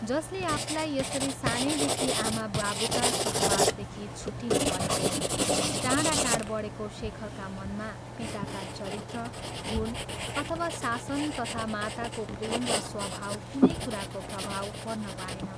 जसले आफूलाई यसरी सानैदेखि आमा बाबुका सहवासदेखि छुट्टिनुपरेको, टाढा टाढ़ बढ़ेको शेखरका मनमा पिताका चरित्र, गुण अथवा शासन तथा माताको प्रेम र स्वभाव कुनै कुराको प्रभाव पर्न पाएन।